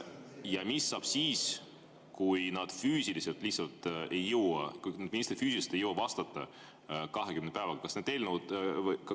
Ja mis saab siis, kui kõik need ministrid füüsiliselt lihtsalt ei jõua vastata 20 päevaga?